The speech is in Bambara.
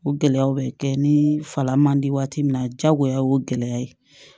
O gɛlɛyaw bɛ kɛ ni fala man di waati min na jagoya o ye gɛlɛya ye